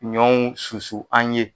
Ɲɔnw susu an ye.